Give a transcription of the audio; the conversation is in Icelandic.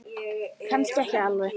Kannski ekki alveg.